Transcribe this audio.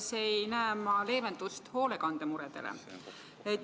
Ma ei näe eelarves leevendust hoolekandemuredele.